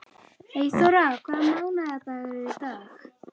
Eyþóra, hvaða mánaðardagur er í dag?